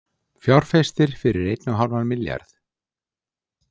Fjárfestir fyrir einn og hálfan milljarð